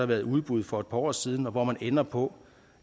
været udbud for et par år siden og hvor man ender på